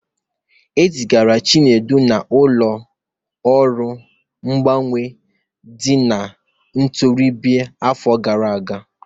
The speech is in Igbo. E zigara Chinedu n'ụlọ ọrụ mgbanwe ndị ntorobịa n'afọ gara aga.